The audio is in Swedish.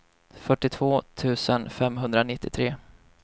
fyrtiotvå tusen femhundranittiotre